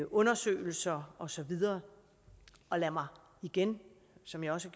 undersøgelser og så videre og lad mig som jeg også